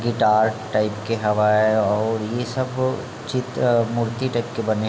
guitar type के हवय अउ ये सब चित्र मूर्ति टाइप के बने --